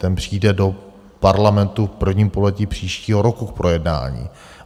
Ten přijde do Parlamentu v prvním pololetí příštího roku k projednání.